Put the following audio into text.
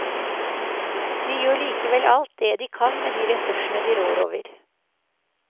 De gjør likevel alt det de kan med de ressursene de rår over.